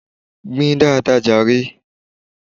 Gbìn dáadáa jàre!